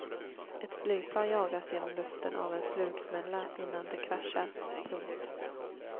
Ett flygplan jagas genom luften av en flugsmälla innan det kraschar. punkt